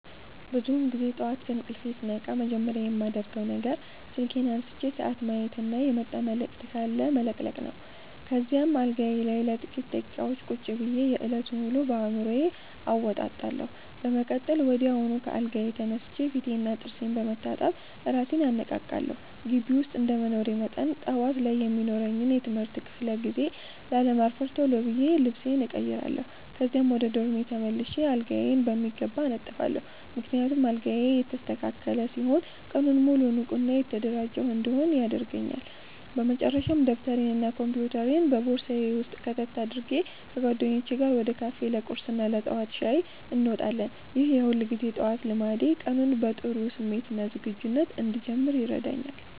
ብዙውን ጊዜ ጠዋት ከእንቅልፌ ስነቃ መጀመሪያ የማደርገው ነገር ስልኬን አንስቼ ሰዓት ማየትና የመጣ መልዕክት ካለ መለቅለቅ ነው። ከዚያም አልጋዬ ላይ ለጥቂት ደቂቃዎች ቁጭ ብዬ የዕለቱን ውሎ በአዕምሮዬ አወጣጣለሁ። በመቀጠል ወዲያውኑ ከአልጋዬ ተነስቼ ፊቴንና ጥርሴን በመታጠብ እራሴን አነቃቃለሁ። ግቢ ውስጥ እንደመኖሬ መጠን፣ ጠዋት ላይ የሚኖረኝን የትምህርት ክፍለ ጊዜ ላለማርፈድ ቶሎ ብዬ ልብሴን እቀይራለሁ። ከዚያም ወደ ዶርሜ ተመልሼ አልጋዬን በሚገባ አነጥፋለሁ፤ ምክንያቱም አልጋዬ የተስተካከለ ሲሆን ቀኑን ሙሉ ንቁና የተደራጀሁ እንድሆን ያደርገኛል። በመጨረሻም ደብተሬንና ኮምፒውተሬን በቦርሳዬ ውስጥ ከተት አድርጌ፣ ከጓደኞቼ ጋር ወደ ካፌ ለቁርስና ለጠዋት ሻይ እንወጣለን። ይህ የሁልጊዜ ጠዋት ልማዴ ቀኑን በጥሩ ስሜትና ዝግጁነት እንድጀምር ይረዳኛል።